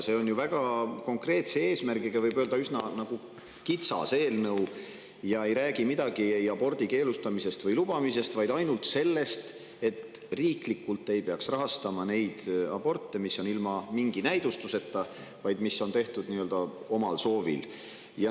See on väga konkreetse eesmärgiga, üsna kitsas eelnõu, mis ei räägi midagi abordi keelustamisest või lubamisest, vaid ainult sellest, et riiklikult ei peaks rahastama neid aborte, mis tehakse ilma mingi näidustuseta, nii-öelda omal soovil.